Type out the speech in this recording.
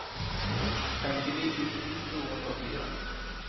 femtini tusen to hundre og fire